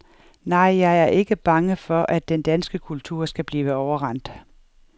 Nej, jeg er ikke bange for, at den danske kultur skal blive overrendt.